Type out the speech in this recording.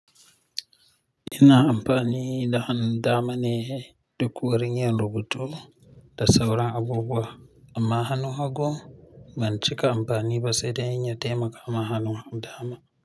Ina amfani da hanun dama ne duk wurin yin rubutu da sauran abubuwa. Amma hannu hagu ban cika amfani ba sai dai in ya taimaka ma hannu dama.